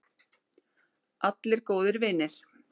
Allir góðir vinir.